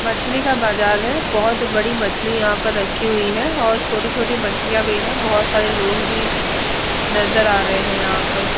मछली का बाजार है। बोहोत बड़ी मछली यहाँ पर रखी हुई है और छोटी-छोटी मछलियाँ भी है बोहोत सारे लोग भी नजर आ रहे है यहाँ पर।